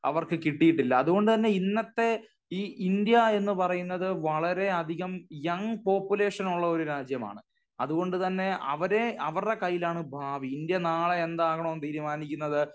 അവർക്ക് കിട്ടിയിട്ടില്ല. അത്കൊണ്ട് തന്നെ ഇന്നത്തെ ഈ ഇന്ത്യ എന്ന് പറയുന്നത് വളരെ അധികം യംഗ് പോപ്പുലേഷൻ ഉള്ള ഒരു രാജ്യമാണ്. അത്കൊണ്ട് തന്നെ അവരെ അവരുടെ കൈയിലാണ് ഭാവി. ഇന്ത്യ നാളെ എന്താകണമെന്ന് തീരുമാണിക്കുന്നത്